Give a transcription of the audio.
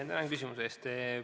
Tänan küsimuse eest!